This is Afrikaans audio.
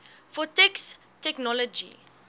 for text technology